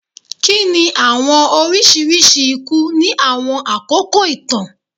Kini awọn oriṣiriṣi iku ni awọn akoko itan?